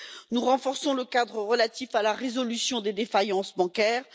Nous renforçons le cadre relatif à la résolution des défaillances bancaires.